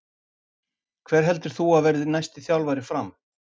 Hver heldur þú að verði næsti þjálfari FRAM?